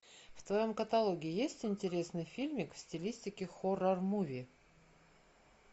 в твоем каталоге есть интересный фильмик в стилистике хоррор муви